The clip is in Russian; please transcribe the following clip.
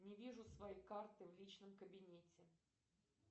не вижу свои карты в личном кабинете